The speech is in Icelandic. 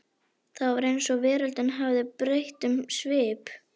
Það var eins og veröldin hefði breytt um svip.